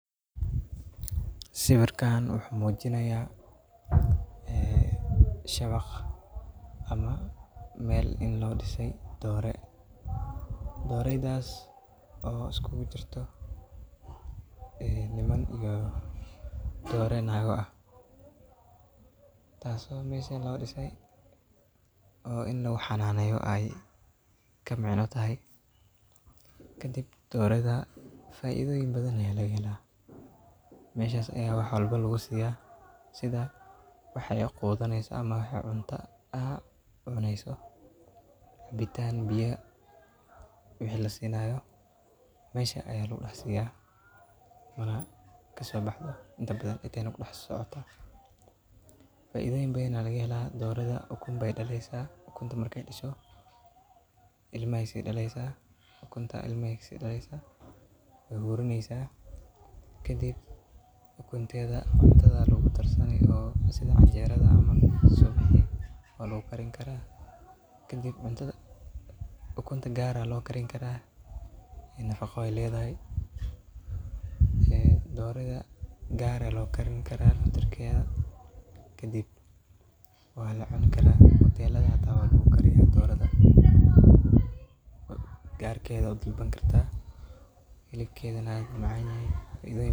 Sawirkan wuxu mujinaya dooro iyo shawaq meel loo dhisay dooro, dooraydas oo isagu jirto doray nago iyo kuwo niman ah taso mesha tagaan oo ini lagu hananeyo kadib doreyda faidoyin badan aa lagahela. Meshas ayaa wax badan lagu siyaa sidha waxa ay qudaneso ama cunto ,cabitan biyo iyo waxa lasinayo. Faidoyin badan baa laga hela doorada ukun badan bey dhalesa ukunta ilmo ay kasi dhalesa wey hurinesa kadib ukunteda canjerada aa lagu darsana sidha canjerada waa lagu karin karaa kadib cuntada gaar aa lo karini karaa nafaqo ay ledahay kadib waa lacuni karaa hotelada hita waa lagu kariyaa oo garkeda u dalbani karta .